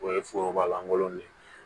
O ye foroba lankolon de ye